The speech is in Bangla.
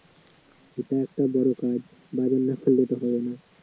এটা একটা বড় বাজার না করলে তো হয় না